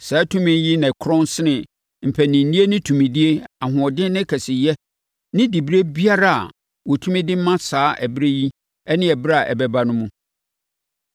Saa tumi yi korɔn sene mpaninnie ne tumidie, ahoɔden ne kɛseyɛ, ne diberɛ biara a wɔtumi de ma saa ɛberɛ yi ne ɛberɛ a ɛbɛba no mu.